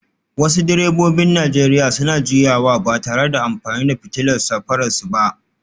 Wasu direbobin Najeriya suna juyawa ba tare da amfani da fitilar safararsu ba